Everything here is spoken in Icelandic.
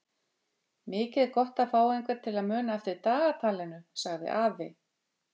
Mikið er gott að fá einhvern til að muna eftir dagatalinu sagði afi.